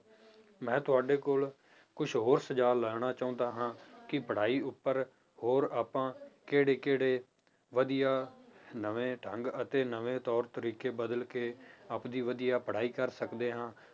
ਮੈਂ ਤੁਹਾਡੇ ਕੋਲ ਕੁਛ ਹੋਰ ਸੁਝਾਵ ਲੈਣਾ ਚਾਹੁੰਦਾ ਹਾਂ ਕਿ ਪੜ੍ਹਾਈ ਉੱਪਰ ਹੋਰ ਆਪਾਂ ਕਿਹੜੇ ਕਿਹੜੇ ਵਧੀਆ ਨਵੇਂ ਢੰਗ ਅਤੇ ਨਵੇਂ ਤੌਰ ਤਰੀਕੇ ਬਦਲ ਕੇ ਆਪਦੀ ਵਧੀਆ ਪੜ੍ਹਾਈ ਕਰ ਸਕਦੇ ਹਾਂ।